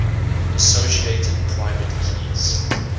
associated private keys